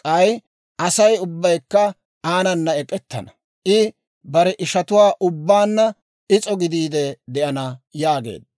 k'ay Asay ubbaykka aanana ek'ettana; I bare ishatuwaa ubbaanna is'o gidiide de'ana» yaageedda.